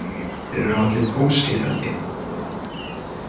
Þeir eru allir pólskir, held ég.